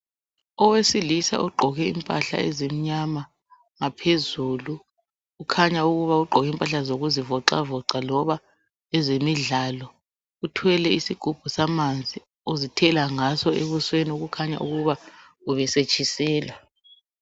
Owesilisa ogqoke impahla ezimnyama ngaphezulu ukhanya ukuba ugqoke impahla zokuzivocavoca loba ezemidlalo uthwele isigubhu esamanzi uzithela ngawo ebuswen ukhanya ubesetshiselwa